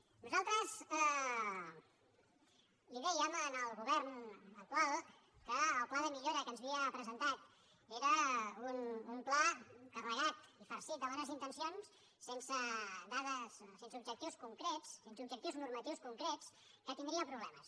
nosaltres dèiem al govern actual que el pla de millora que ens havia presentat era un pla carregat farcit de bones intencions sense dades sense objectius concrets sense objectius normatius concrets que tindria problemes